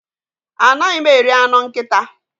Anaghị m eri anụ nkịta.